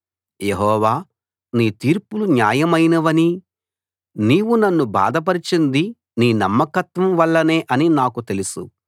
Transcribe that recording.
యెహోవా నీ తీర్పులు న్యాయమైనవనీ నీవు నన్ను బాధపరచింది నీ నమ్మకత్వం వల్లనే అనీ నాకు తెలుసు